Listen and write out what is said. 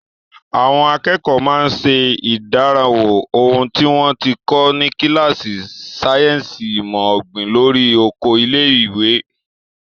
Àwọn akẹ́kọ̀ọ́ máa ń ṣe ìdánrawò ohun tí wọ́n ti kọ́ ní kíláàsì sáyẹ́ǹsì ìmọ̀ ọ̀gbìn lórí oko ilé-ẹ̀kọ́.